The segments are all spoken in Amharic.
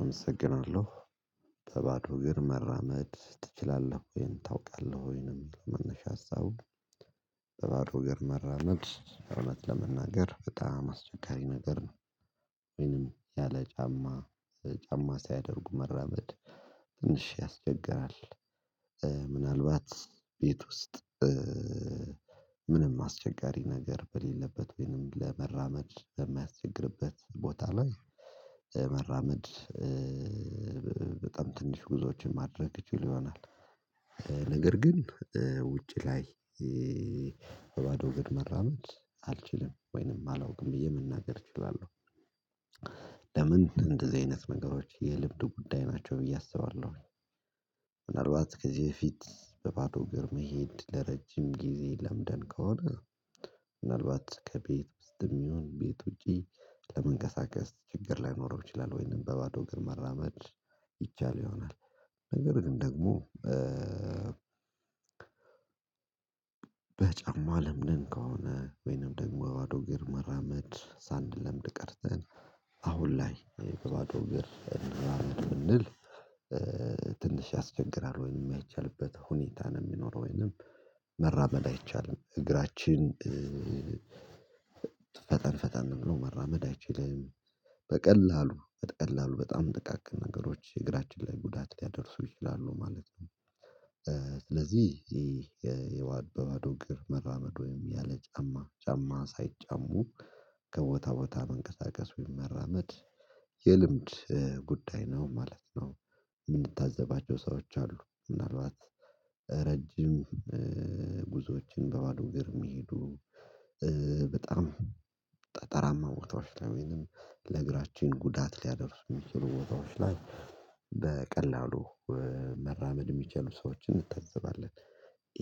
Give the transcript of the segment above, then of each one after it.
አመሰግናለሁ። በባዶ እግር መራመድ ትችላለህ ወይ? ወይንም ታውቃለህ ወይ? ነው ሚል መነሻ ሀሳቡ በባዶ እግር መራመድ እውነት ለመናገር በጣም አስቸጋሪ ነገር ነው። ወይንም ያለ ጫማ ጫማ ሳያደርጉ መራመድ ትንሽ ያስቸግራል። ምናልባት ቤት ውስጥ ምንም አስቸጋሪ ነገር በሌለበት ወይንም ለመራመድ በማያስቸግርበት ቦታ ላይ መራመድ በጣም ትንሽ ጉዞዎችን ማድረግ እችል ይሆናል። ነገር ግን ውጪ ላይ በባዶ እግር መራመድ አልችልም። ወይንም አላውቅም ብዬ መናገር እችላለሁ። ለምን እንደዚህ አይነት ነገሮች የልምድ ጉዳይ ናቸው ብዬ አስባለሁ ምናልባት ከዚህ በፊት በባዶ እግር መሄድ ለረጅም ጊዜ ለምደን ከሆነ ምናልባት ከቤት ውስጥ የሚሆን ቤት ውጪ ለመንቀሳቀስ ችግር ላይኖረው ይችላል። ወይንም በባዶ እግር መራመድ ይቻል ይሆናል። ነገር ግን ደግሞ በጫማ ለምደን ከሆነ ወይንም ደግሞ ባዶ እግር መራመድ ሳንለምድ ቀርተን አሁን ላይ በባዶ እግር እንራመድ ብንል ትንሽ ያስቸግራል፣ ወይንም የማይቻልበት ሁኔታ ነው የሚኖረው፣ ወይንም መራመድ አይቻልም። እግራችን ፈጠን ፈጠን ብሎ መራመድ አይችልም። በቀላሉ በቀላሉ በጣም ጥቃቅን ነገሮች እግራችን ላይ ጉዳት ሊያደርሱ ይችላሉ ማለት ነው። ስለዚህ ይሄ የዋድ በዋድ እግር መራመድ ወይም ያለ ጫማ ጫማ ሳይጫሙ ከቦታ ቦታ መንቀሳቀስ ወይም መመራመድ የልምድ ጉዳይ ነው ማለት ነው። የምንታዘባቸው ሰዎች አሉ። ምናልባት ረጅም ጉዞዎችን በባዶ እግር ሚሄዱ በጣም ጠጠራማ ቦታዎች ላይ ወይንም ለእግራችን ጉዳት ሊያደርስ የሚችሉ ቦታዎች ላይ በቀላሉ መራመድ የሚችሉ ሰዎችን እንታዘባለን።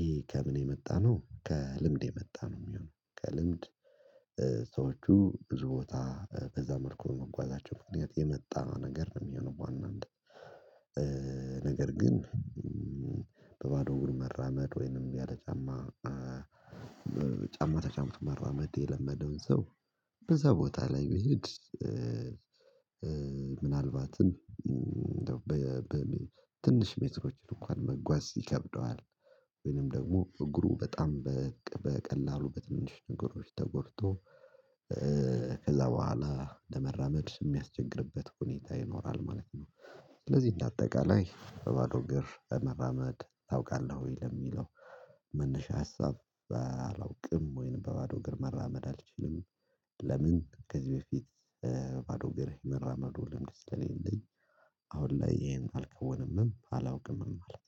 ይሄ ከምን የመጣ ነው? ከልምድ የመጣ ነው የሚሆነው። ከልምድ ሰዎቹ ብዙ ቦታ በዛ መልኩ በመጓዛቸው ምክንያት የመጣ ነው ነገር ነው የሚሆነው። ዋናነት ነገር ግን በባዶ እግር መራመድ ወይንም ያለ ጫማ ጫማ ተጫምቶ መራመድ የለመደውን ሰው በዛ ቦታ ላይ መሄድ ምናልባትም በትንሽ ሜትሮች እንኳን መጓዝ ይከብደዋል። ወይንም ደግሞ እግሩ በጣም በቀላሉ በትንሽ ነገሮች ተጎድቶ ከዛ በኋላ ለመራመድ የሚያስቸግርበት ሁኔታ ይኖራል ማለት ነው። ስለዚህ እንደ አጠቃላይ በባዶ እግር መራመድ ታውቃለህ ወይ? ለሚለው መነሻ ሀሳብ አላውቅም፣ ወይንም በባዶ እግር መራመድ አልችልም። ለምን? ከዚህ በፊት በባዶ እግሬ መራመዱ ልምድ ስለሌለኝ አሁን ላይ ይሄን አልከውንምም፣ አላውቅምም ማለት ነው።